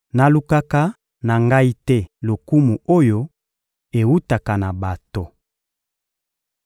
Nalukaka na Ngai te lokumu oyo ewutaka na bato.